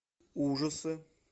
ужасы